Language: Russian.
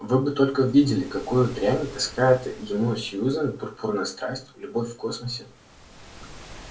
вы бы только видели какую дрянь таскает ему сьюзен пурпурная страсть любовь в космосе